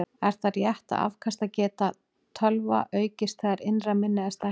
Er það rétt að afkastageta tölva aukist þegar innra minni er stækkað?